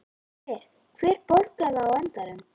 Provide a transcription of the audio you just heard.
Hver, hver borgar það á endanum?